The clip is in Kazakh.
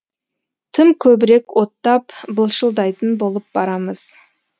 тым көбірек оттап былшылдайтын болып барамыз